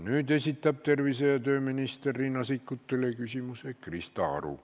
Nüüd esitab tervise- ja tööminister Riina Sikkutile küsimuse Krista Aru.